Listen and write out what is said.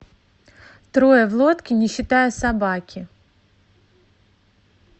трое в лодке не считая собаки